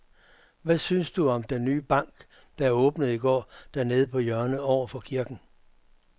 Hvad synes du om den nye bank, der åbnede i går dernede på hjørnet over for kirken?